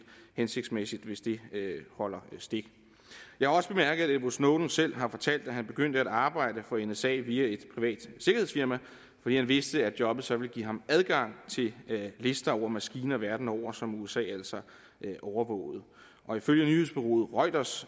hensigtsmæssigt hvis det holder stik jeg har også bemærket at edward snowden selv har fortalt at han begyndte at arbejde for nsa via et privat sikkerhedsfirma fordi han vidste at jobbet så ville give ham adgang til lister over maskiner verden over som usa altså overvågede og ifølge nyhedsbureauet reuters